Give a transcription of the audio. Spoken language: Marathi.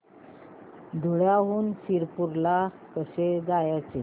धुळ्याहून शिरपूर ला कसे जायचे